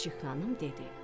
Çik-çik xanım dedi: